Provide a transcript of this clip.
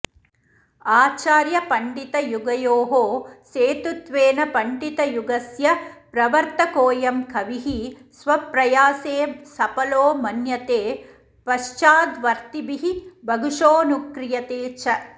आचार्यपण्डितयुगयोः सेतुत्वेन पण्डितयुगस्य प्रवर्तकोऽयं कविः स्वप्रयासे सफलो मन्यते पश्चाद्वर्तिभिः बहुशोऽनुक्रियते च